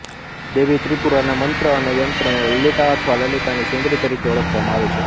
દેવી ત્રિપુરાના મંત્ર અને યંત્રને લલિતા અથવા લલિતા સુંદરી તરીકે ઓળખવામાં આવે છે